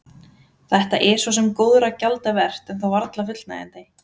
Þetta er svo sem góðra gjalda vert en þó varla fullnægjandi.